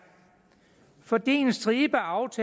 sådan set